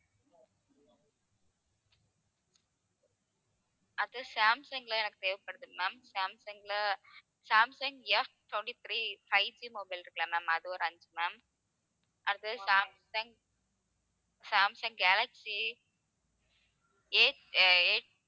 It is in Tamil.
அடுத்தது சாம்சங்ல எனக்கு தேவைப்படுது ma'am சாம்சங்ல சாம்சங் Ftwenty-three 5G mobile இருக்குல்ல ma'am அது ஒரு அஞ்சு ma'am அடுத்து சாம்சங் சாம்சங் கேலக்ஸி A